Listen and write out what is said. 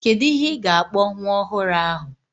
Kedu ihe ị ga-akpọ nwa ọhụrụ ahụ?